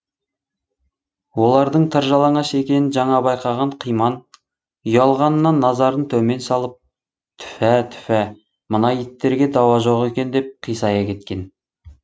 олардың тыр жалаңаш екенін жаңа байқаған қиман ұялғанынан назарын төмен салып түфә түфә мына иттерге дауа жоқ екен деп қисая кеткен